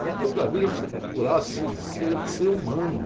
Plenitude da vida é você procurar se, ser, ser humano.